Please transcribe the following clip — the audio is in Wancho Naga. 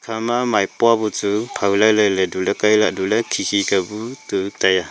ekhama maipo buchu phao lai lai ley tu ley khi khi ka bu chu tai a.